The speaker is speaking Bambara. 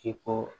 K'i ko